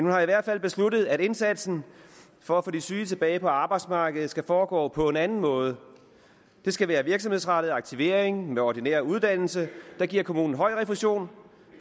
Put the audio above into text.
har i hvert fald besluttet at indsatsen for at få de syge tilbage på arbejdsmarkedet skal foregå på en anden måde det skal være virksomhedsrettet aktivering med ordinær uddannelse der giver kommunen høj refusion